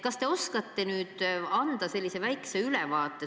Kas te oskate anda väikse ülevaate?